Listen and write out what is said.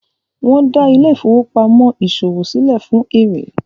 wón dá Ile-ifowopamọ ìṣòwò silẹ fún èrè.